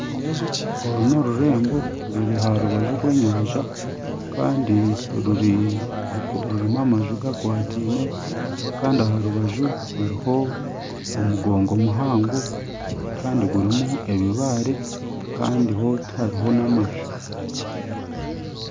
Oru n'orurembo ruri aharubaju rw'enyanja Kandi rurimu amaju gakwatiine Kandi aharubaju hariho omugongo muhango Kandi gurimu ebibaare Kandi ho tihariho n'amaju.